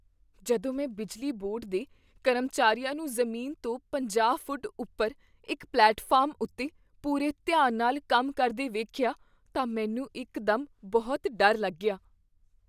ਜਦੋਂ ਮੈਂ ਬਿਜਲੀ ਬੋਰਡ ਦੇ ਕਰਮਚਾਰੀਆਂ ਨੂੰ ਜ਼ਮੀਨ ਤੋਂ ਪੰਜਾਹ ਫੁੱਟ ਉੱਪਰ ਇੱਕ ਪਲੇਟਫਾਰਮ ਉੱਤੇ ਪੂਰੇ ਧਿਆਨ ਨਾਲ ਕੰਮ ਕਰਦੇ ਵੇਖਿਆ ਤਾਂ ਮੈਨੂੰ ਇੱਕ ਦਮ ਬਹੁਤ ਡਰ ਲੱਗਿਆ